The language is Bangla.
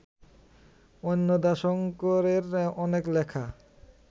অন্নদাশঙ্করের অনেক লেখা